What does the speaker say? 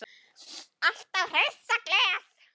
Alltaf hress og glöð.